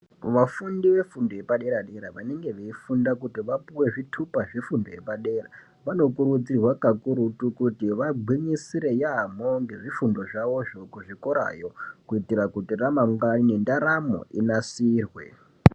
Vafundi vefundo yepadera dera vanenge veifunda kuti vapuwe zvitupa zvefundo yepadera vanokurudzirwa kakurutu kuti vagwinyisire yambo ngezvifundozvavo zvo kuzvikora yo kuitira kuti ramangwani nendaramo inasirwe.